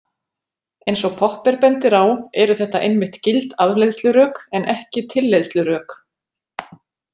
Eins og Popper bendir á eru þetta einmitt gild afleiðslurök en ekki tilleiðslurök.